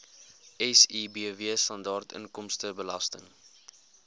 sibw standaard inkomstebelasting